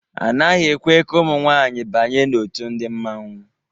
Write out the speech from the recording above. A naghị ekwe ka ụmụ nwaanyị banye n'òtù ndi mmanwu.